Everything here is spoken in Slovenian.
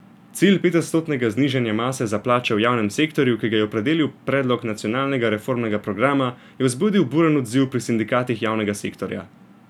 Cilj petodstotnega znižanja mase za plače v javnem sektorju, ki ga je opredelil predlog nacionalnega reformnega programa, je vzbudil buren odziv pri sindikatih javnega sektorja.